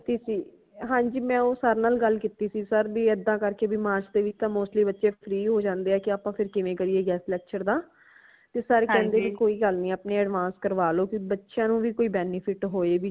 ਕੀਤੀ ਸੀ ਹਾਂਜੀ ਮੈਂ ਉਹ sir ਨਾਲ ਗੱਲ ਕੀਤੀ ਸੀ sir ਬੀ ਏਦਾਂ ਕਰਕੇ ਬਈ ਮਾਰਚ ਦੇ ਵਿਚ ਤਾ mostly ਬੱਚੇ free ਹੋ ਜਾਂਦੇ ਹੈ ਕਿ ਆਪਾ ਫਿਰ ਕਿਵੇਂ ਕਰੀਏ guest lecture ਦਾ ਤੇ sir ਕਹਿੰਦੇ ਬਈ ਕੋਈ ਗੱਲ ਨੀ ਆਪਣੀ advance ਕਰਵਾ ਲੋ ਫਿਰ ਬੱਚਿਆਂ ਨੂ ਵੀ ਕੁਝ benefit ਹੋਏ